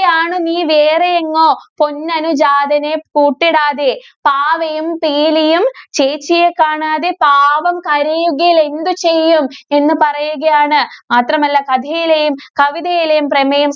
~യാണ് നീ വേറെയെങ്ങോ, പൊന്നനുജാതനെ കൂട്ടിടാതെ. പാവയും, പീലിയും ചേച്ചിയെ കാണാതെ പാവം കരയുകിലെന്തു ചെയ്യും? എന്ന് പറയുകയാണ്. മാത്രമല്ല, കഥയിലെയും, കവിതയിലേയും പ്രമേയം